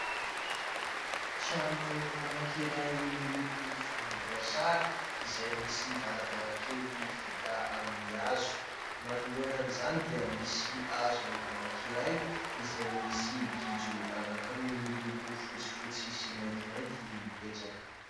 Trano anankiray miloko volomboasary izay misy varavarakely vita amin'ny hazo. Manoloana izany dia misy hazo anankiray izay misy gidro ananky roa miloko fotsifotsy sy maintimainty mipetsaka.